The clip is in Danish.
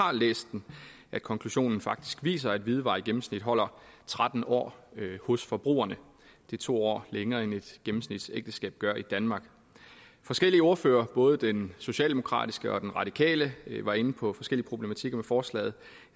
har læst den at konklusionen faktisk viser at hvidevarer i gennemsnit holder tretten år hos forbrugerne det er to år længere end et gennemsnitlig gør i danmark forskellige ordførere både den socialdemokratiske og den radikale var inde på forskellige problematikker i forslaget